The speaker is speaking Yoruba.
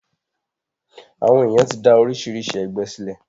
Àwọn èyàn ti dá oríṣiríṣi ẹgbẹ sílẹ̀.